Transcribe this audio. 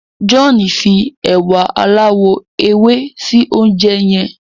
John fí ewa aláwò ewe sí oúnjẹ yén.